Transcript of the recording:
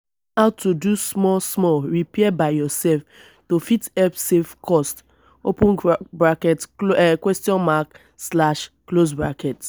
learn how to do small small repair by yourself to fit help save cost